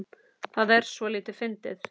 Það er soldið fyndið.